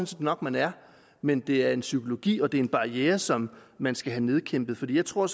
set nok at man er men det er psykologi og det er en barriere som man skal have nedkæmpet jeg tror